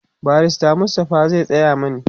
barrister Mustapha zai Tsaya mani